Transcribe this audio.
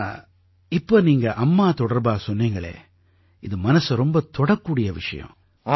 ஆனா இப்ப நீங்க அம்மா தொடர்பா சொன்னீங்களே இது மனசை ரொம்பத் தொடும் விஷயம்